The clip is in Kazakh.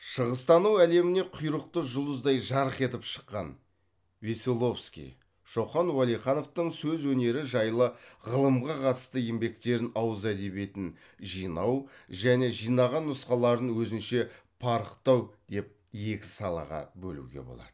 шығыстану әлеміне құйрықты жұлдыздай жарқ етіп шыққан шоқан уәлихановтың сөз өнері жайлы ғылымға қатысты еңбектерін ауыз әдебиетін жинау және жинаған нұсқаларын өзінше парықтау деп екі салаға бөлуге болады